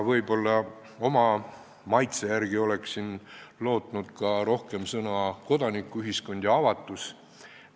Võib-olla oma maitse järgi oleksin lootnud rohkem kuulda sõnu "kodanikuühiskond" ja "avatus".